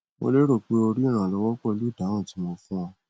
mo lérò pé o rí ìrànlọwọ pẹlú ìdáhùn tí mo fún ọ